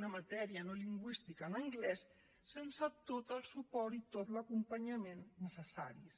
una matèria no lingüística en anglès sense tot el suport i tot l’acompanyament necessaris